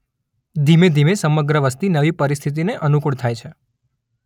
ધીમે ધીમે સમગ્ર વસ્તી નવી પરિસ્થિતિને અનુકૂળ થાય છે.